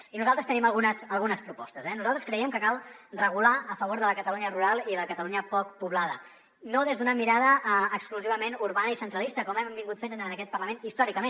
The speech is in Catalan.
i nosaltres tenim algunes propostes eh nosaltres creiem que cal regular a favor de la catalunya rural i la catalunya poc poblada no des d’una mirada exclusivament urbana i centralista com hem fet en aquest parlament històricament